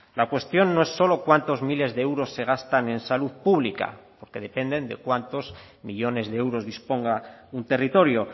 la cuestión no es solo cuántos miles de euros se gastan en salud pública porque dependen de cuántos millónes de euros disponga un territorio